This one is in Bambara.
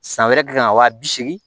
San wɛrɛ k'i kan ka wa bi seegin